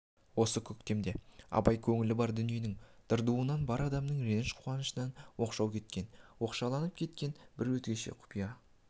осы көктемде абай көңілі бар дүниенің дырдуынан бар адамның реніш қуанышынан оқшау кеткен оңашаланып кеткен бір өзгеше құпия